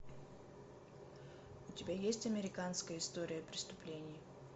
у тебя есть американская история преступлений